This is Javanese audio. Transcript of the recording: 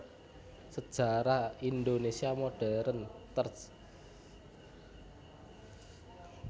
Sejarah Indonésia Modern terj